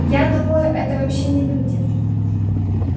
я думаю это вообще не люди